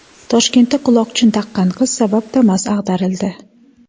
Toshkentda quloqchin taqqan qiz sabab Damas ag‘darildi .